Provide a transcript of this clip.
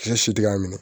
Cɛ si tɛ k'a minɛ